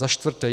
Za čtvrté.